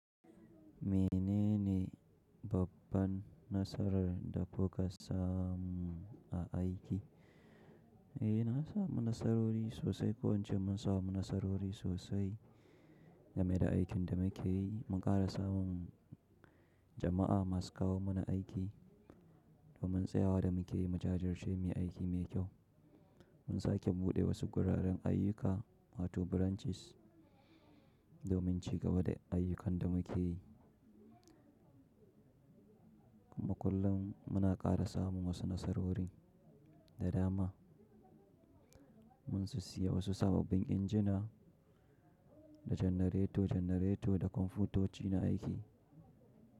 Menene babban nasarar da kuka samu a aiki? Eh, na samu nasarori sosai. Ko ince mun samu nasarori sosai game da aikin da muke yi. Mun ƙara samun jama'a masu kawo mana aiki domin tsayawa da muke yi. Mujajir ce muyi aiki mai kyau. Mun sake buɗe wasu guraren ayyuka, wa tu branches domin cigaba da ayyukan da muke yi. Kuma kullum muna ƙara samun wasu nasarori da dama. Mun sissiya wasu sababbin injina da janareto-janareto da kwamfutoci na aiki.